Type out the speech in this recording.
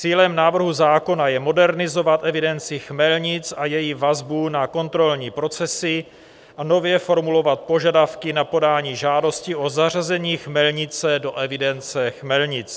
Cílem návrhu zákona je modernizovat evidenci chmelnic a její vazbu na kontrolní procesy a nově formulovat požadavky na podání žádostí o zařazení chmelnice do evidence chmelnic.